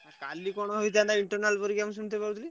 କାଲି କଣ ହେଇଥାନ୍ତା internal ପରୀକ୍ଷା ମୁଁ ଶୁଣିତେ ପାଉଥିଲି।